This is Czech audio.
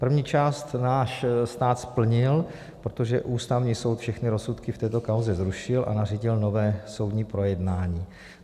První část náš stát splnil, protože Ústavní soud všechny rozsudky v této kauze zrušil a nařídil nové soudní projednání.